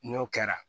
N'o kɛra